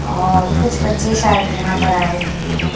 और कुछ बच्चे शायद यहां पर आए हुए हैं।